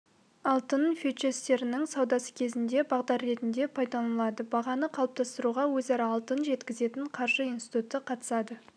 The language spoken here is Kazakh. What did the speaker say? алтын фьючерстерінің саудасы кезінде бағдар ретінде пайдаланылады бағаны қалыптастыруға өзара алтын жеткізетін қаржы институты қатысады